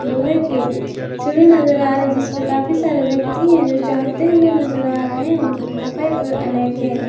लोहे के सीढ़ी नजर आ रही जिसपे काफी सारे व्यक्ति है जो चहड़ते हुए नजर आ रहे है जिनके कपड़े का कलर अनेक हैं।